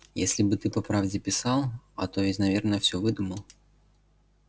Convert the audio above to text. если бы ты по правде писал а то ведь наверное все выдумал